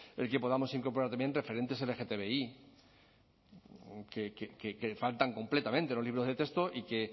el que podamos incorporar también referentes lgtbi que faltan completamente en los libros de texto y que